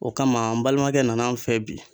O kama n balimakɛ nana n fɛ bi.